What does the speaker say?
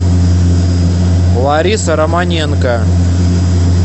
лариса романенко